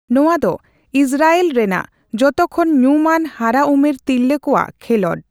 ᱱᱚᱣᱟ ᱫᱚ ᱤᱥᱨᱟᱭᱮᱞ ᱨᱮᱱᱟᱜ ᱡᱚᱛᱚᱠᱷᱚᱱ ᱧᱩᱢᱟᱱ ᱦᱟᱨᱟ ᱩᱢᱮᱨ ᱛᱤᱨᱞᱟᱹ ᱠᱚᱣᱟᱜ ᱠᱷᱮᱞᱳᱸᱰ ᱾